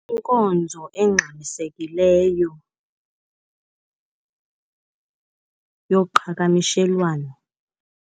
Inkonzo engxamisekileyo yoqhakamishelwano.